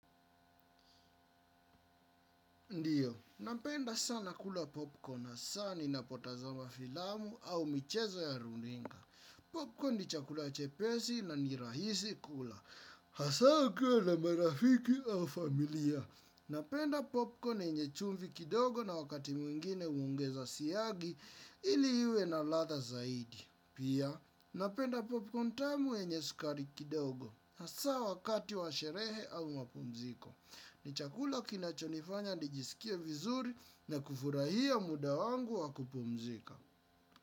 Ndiyo, napenda sana kula popcorn, hasaa ni napotazama filamu au michezo ya runinga. Popcorn ni chakula chepesi na ni rahisi kula. Hasaa ukiwa na marafiki au familia. Napenda popcorn yenye chumvi kidogo na wakati mwingine huongeza siagi ili iwe na ladha zaidi. Pia, napenda popcorn tamu yenye sukari kidogo. Hasaa wakati wa sherehe au mapumziko. Ni chakula kinachonifanya nijisikia vizuri na kufurahia muda wangu wa kupumzika.